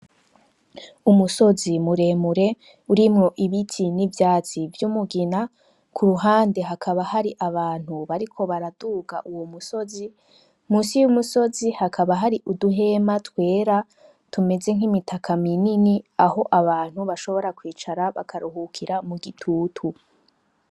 Umusozi muremure urimwo ibiti n’ivyatsi vy’umugina ku ruhande hakaba hari abantu bariko baraduga Uwo musozi , munsi y’umusozi hakaba hari Uduhema twera tumeze nk’imitaka minini Aho abantu bashobora kwicara bakaruhukira mugitutu.